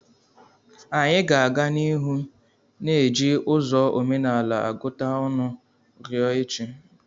Anyị ga-aga n'ihu na-eji ụzọ omenala agụta ọnụ ruo echi.